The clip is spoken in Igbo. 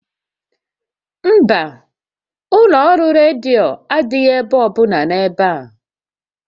Mba, ụlọ ọrụ redio adịghị ebe ọbụla n'ebe a